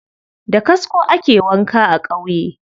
Da kasko ake wanka a ƙauye.